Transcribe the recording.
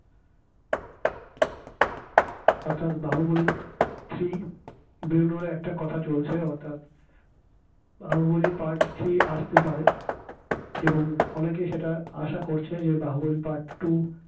অর্থাৎ বাহুবালি three বেরোনোর একটা কথা চলছে অর্থাৎ বাহুবলী part three আসতে পারে এবং অনেকে সেটা আশা করছে বাহুবলী part two